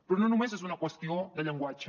però no només és una qüestió de llenguatge